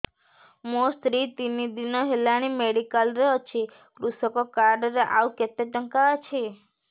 ମୋ ସ୍ତ୍ରୀ ତିନି ଦିନ ହେଲାଣି ମେଡିକାଲ ରେ ଅଛି କୃଷକ କାର୍ଡ ରେ ଆଉ କେତେ ଟଙ୍କା ଅଛି